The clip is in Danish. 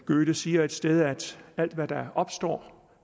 goethe siger et sted at alt hvad der opstår